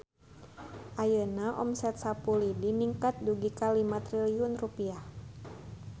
Ayeuna omset Sapu Lidi ningkat dugi ka 5 triliun rupiah